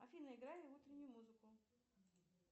афина играй утреннюю музыку